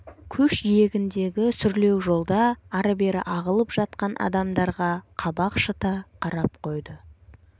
көш жиегіндегі сүрлеу жолда ары-бері ағылып жатқан адамдарға қабақ шыта қарап қойды